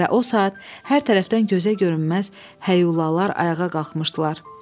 Və o saat hər tərəfdən gözə görünməz həlalar ayağa qalxmışdılar.